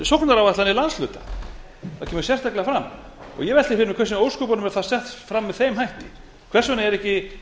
sóknaráætlanir landshluta það kemur sérstaklega fram ég velti fyrir mér hvers vegna í ósköpunum er það sett fram með þeim hætti hvers vegna er ekki